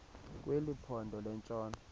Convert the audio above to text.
kweli phondo lentshona